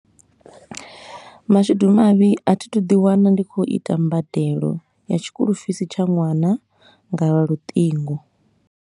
Mashudu mavhi a thi thu ḓi wana ndi khou ita mbadelo ya tshikolofisi tsha ṅwana nga luṱingo.